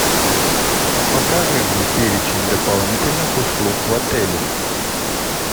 покажи мне перечень дополнительных услуг в отеле